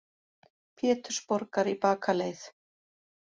Pétursborgar í bakaleið.